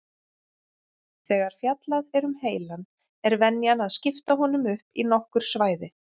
Þegar fjallað er um heilann er venjan að skipta honum upp í nokkur svæði.